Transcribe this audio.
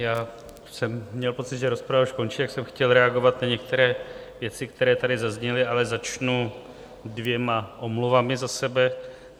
Já jsem měl pocit, že rozprava už končí, tak jsem chtěl reagovat na některé věci, které tady zazněly, ale začnu dvěma omluvami za sebe.